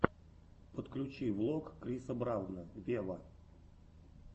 подключи влог криса брауна вево